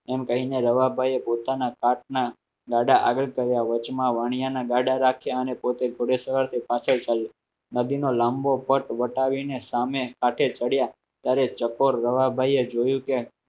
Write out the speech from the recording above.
કહીને રવાભાઈ એ પોતાના પાર્ટના ગાડા આગળ કર્યા વચમાં વાણિયાના ગાડા રાખ્યા અને પોતે ઘોડે સવારથી પાછળ ચાલ્યો નદીનો લાંબો પટ વટાવીને સામે હાથે ચડ્યા ત્યારે ચકોર રવાભાઈએ જોયું કે એમ